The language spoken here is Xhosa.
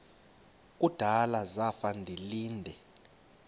kudala zafa ndilinde